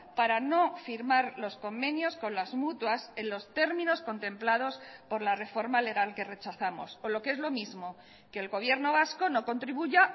para no firmar los convenios con las mutuas en los términos contemplados por la reforma legal que rechazamos o lo que es lo mismo que el gobierno vasco no contribuya